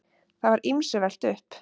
Það var ýmsu velt upp.